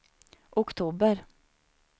oktober